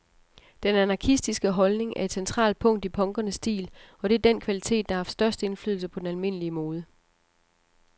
Den anarkistiske holdning er et centralt punkt i punkernes stil, og det er den kvalitet, der har haft størst indflydelse på den almindelige mode.